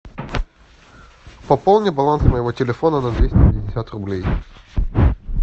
пополни баланс моего телефона на двести пятьдесят рублей